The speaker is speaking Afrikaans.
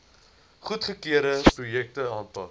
goedgekeurde projekte aanpak